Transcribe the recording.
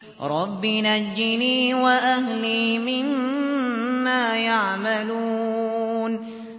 رَبِّ نَجِّنِي وَأَهْلِي مِمَّا يَعْمَلُونَ